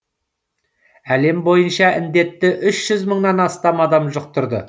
әлем бойынша індетті үш жүз мыңнан астам адам жұқтырды